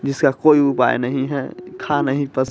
जिसका कोई उपाय नहीं है खा नहीं पस --